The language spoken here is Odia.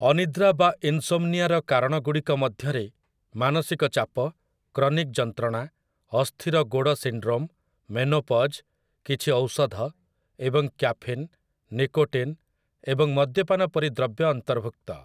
ଅନିଦ୍ରା ବା ଇନ୍‌ସୋମ୍‌ନିଆର କାରଣଗୁଡ଼ିକ ମଧ୍ୟରେ ମାନସିକ ଚାପ, କ୍ରନିକ୍ ଯନ୍ତ୍ରଣା, ଅସ୍ଥିର ଗୋଡ଼ ସିଣ୍ଡ୍ରୋମ୍, ମେନୋପଜ୍, କିଛି ଔଷଧ, ଏବଂ କ୍ୟାଫିନ୍, ନିକୋଟିନ୍, ଏବଂ ମଦ୍ୟପାନ ପରି ଦ୍ରବ୍ୟ ଅନ୍ତର୍ଭୁକ୍ତ ।